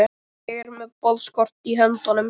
Ég er með boðskort í höndunum.